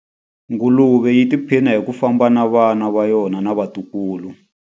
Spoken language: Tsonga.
Nguluve yi tiphina hi ku famba na vana va yona na vatukulu.